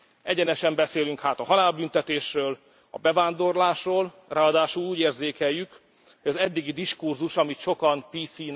Egyenesen beszélünk hát a halálbüntetésről, a bevándorlásról, ráadásul úgy érzékeljük, hogy az eddigi diskurzus, amit sokan